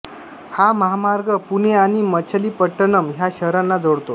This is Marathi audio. हा महामार्ग पुणे आणि मच्छलीपट्टणम ह्या शहरांना जोडतो